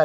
లో .